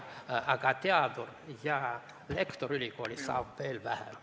Aga teadur ja lektor ülikoolis saab veel vähem.